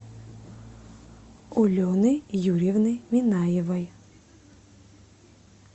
олены юрьевны минаевой